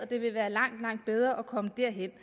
det vil være langt langt bedre at komme derhen